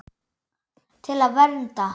Til að vernda.